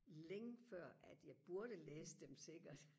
længe før at jeg burde læse dem sikkert